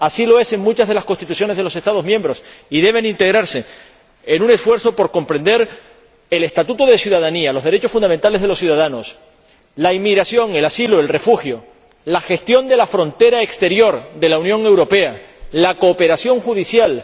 Así lo es en muchas de las constituciones de los Estados miembros, y deben integrarse en un esfuerzo por comprender el estatuto de ciudadanía, los derechos fundamentales de los ciudadanos, la inmigración, el asilo, el refugio, la gestión de la frontera exterior de la Unión Europea, la cooperación judicial